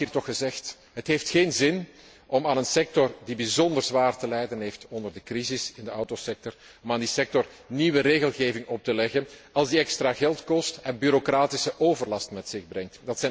Het mag hier toch gezegd worden het heeft geen zin om aan een sector die bijzonder zwaar te lijden heeft onder de crisis in de autosector, nieuwe regelgeving op te leggen als die extra geld kost en bureaucratische overlast met zich meebrengt.